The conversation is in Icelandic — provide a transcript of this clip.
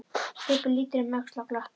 Stubbur lítur um öxl og glottir.